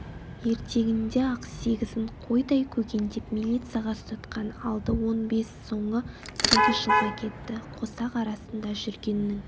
ертеңінде-ақ сегізін қойдай көгендеп милицияға ұстатқан алды он бес соңы сегіз жылға кетті қосақ арасында жүргеннің